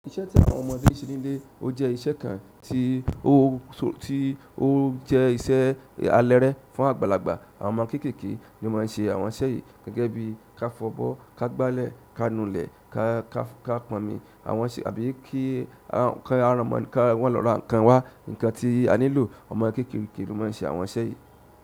Iṣẹ́ ti àwọn ọmọdé se nile oje iṣẹ́ kan ti o ti o je iṣẹ́ alere fún àgbàlagbà. Àwọn ọmọ kéékèèké ni ó máa ń ṣe àwọn iṣẹ́ yìí gẹ́gẹ́ bí i ká fọbọ́, ká gbálẹ̀, ká nu ilẹ̀, ká ká pọnmi àwọn ṣe àbí kí àwọn ká wọn lọ ra ǹkan wá, ǹkan tí a nílò. Ọmọ kéékèèké lo maa n ṣe àwọn iṣẹ́ yìí.